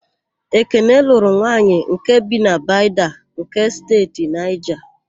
Ekene lụrụ nwanyị nke bi na Bida nke Steeti Naịja.